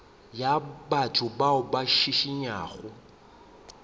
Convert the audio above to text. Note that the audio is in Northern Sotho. ya batho bao ba šišintšwego